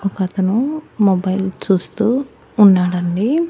ఒక అతను మొబైల్ చూస్తూ ఉన్నాడండి.